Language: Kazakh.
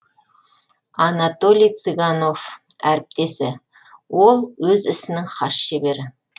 анатолий цыганов әріптесі ол өз ісінің хас шебері